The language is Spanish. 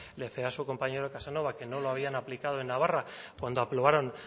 le su compañero casanova que no lo habían aplicado en navarra cuando aprobaron